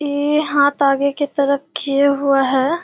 ये हांथ आगे के तरफ किये हुआ है।